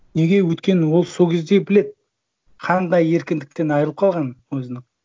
неге өйткені ол сол кезде біледі қандай еркіндіктен айырылып қалғанын өзінің